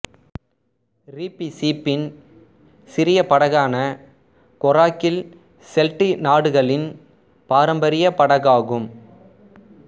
ரீப்பிசீப்பின் சிறிய படகான கொராக்கில் செல்டிக் நாடுகளின் பாரம்பரிய படகாகும்